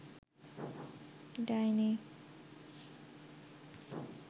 ডাইনি